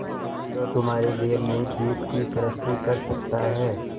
जो तुम्हारे लिए नए द्वीप की सृष्टि कर सकता है